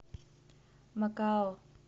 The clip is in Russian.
макао